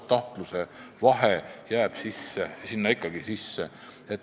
Tahtluse vahe jääb ikkagi sisse.